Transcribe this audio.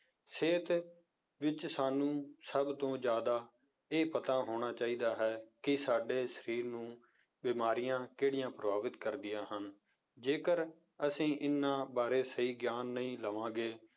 ਸਿਹਤ ਵਿੱਚ ਸਾਨੂੰ ਸਭ ਤੋਂ ਜ਼ਿਆਦਾ ਇਹ ਪਤਾ ਹੋਣਾ ਚਾਹੀਦਾ ਹੈ ਕਿ ਸਾਡੇ ਸਰੀਰ ਨੂੰ ਬਿਮਾਰੀਆਂ ਕਿਹੜੀਆਂ ਪ੍ਰਭਾਵਿਤ ਕਰਦੀਆਂ ਹਨ, ਜੇਕਰ ਅਸੀਂ ਇਹਨਾਂ ਬਾਰੇ ਸਹੀ ਗਿਆਨ ਨਹੀਂ ਲਵਾਂਗੇ